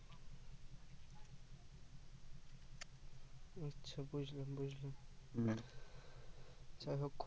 বুজলাম বুজলাম যাইহোক হম